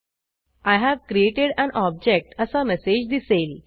I have created an object असा message दिसेल